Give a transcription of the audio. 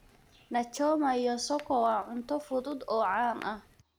Nachoma iyo soko waa cunto fudud oo caan ah.